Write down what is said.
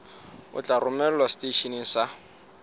o tla romelwa seteisheneng sa